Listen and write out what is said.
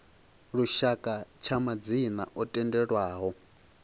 lushaka tsha madzina o tendelwaho